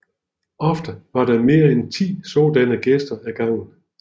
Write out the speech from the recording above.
Ofte var der mere end ti sådanne gæster ad gangen